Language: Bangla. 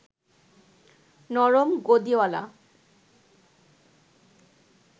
নরম গদিঅলা